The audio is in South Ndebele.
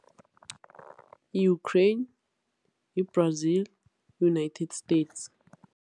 Yi-Ukraine, yi-Brazil, United States.